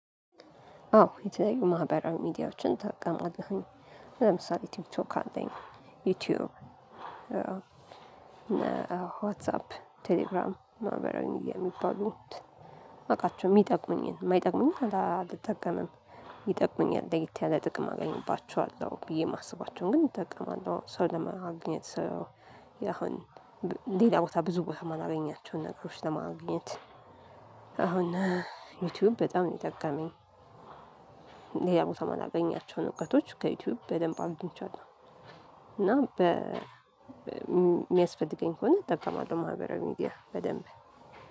አዎ የተለያዩ ማህበራዊ ሚዲያዎችን እጠቀማለሁኝ። ለምሳሌ ቲክ ቶክ አለኝ ዩቲዩብ ዋትሳፕ ቴሌግራም ማህበራዊ ሚድያ የሚባሉት ማቃቸው የሚጠቁምኝን የማይጠቅሙኝን አልጠቀምም። ይጠቅሙኛል ለይት ያለ ጥቅም አገኝባቸዋለሁ ብዬ የማስባቸውን ግን እጠቀማለሁ ሰው ለማግኘት ሰው ያሁን ሌላ ቦታ ብዙ ቦታ ማላገኛቸውን ነገሮች ለማግኘት። አሁን ዩቲዩብ በጣም ነው የጠቀመኝ። ሌላ ቦታ ማላገኛቸውን እውቀቶች ከዩቲዩብ በደንብ አጊንቻለሁ። እና በሚያስፈልገኝ ከሆነ እጠቀማለሁ ማህበራዊ ሚዲያ በደንብ።